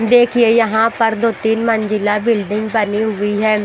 देखिए यहाँ पर दो तीन मंजिला बिल्डिंग बनी हुई है।